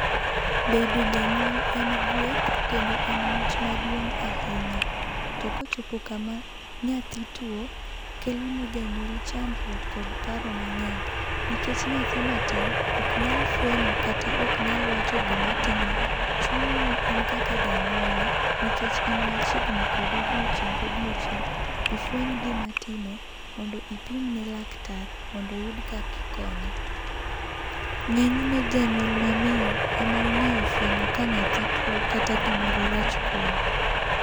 Bedo janyuol en gweth kendo en mich maduong' ahinya, to ka ochopo kama nyathi tuo, kelo ne janyuol chandruok kod paro mang'eny nikech nyathi matin ok nyal fwenyo kata ok nyal wacho gi ma time chuni ni in kaka janyuolne nikech in kode odiechieng ka odiechieng ifweny gima time mondo ipimne laktar mondo oyud kaka ikonye. Ng'eny ne janyuol ma miyo e ma ong'e fwenyo ka nyathi tuo kata gi moro rach kuome.